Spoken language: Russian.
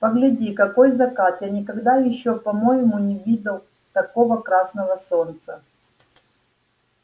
погляди какой закат я никогда ещё по-моему не видал такого красного солнца